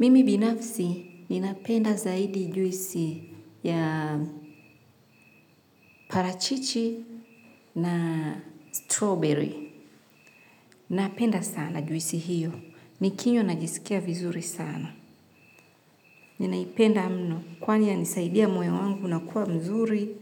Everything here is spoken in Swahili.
Mimi binafsi ninapenda zaidi juisi ya parachichi na strawberry. Napenda sana juisi hiyo. Nikinywa najisikia vizuri sana. Ninaipenda mno kwani yanisaidia moyo wangu unakuwa mzuri.